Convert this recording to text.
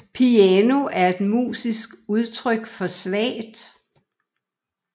Piano er et musisk udtryk for svagt